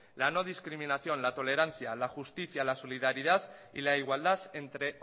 la no discriminación la tolerancia la justicia la solidaridad y la igualdad entre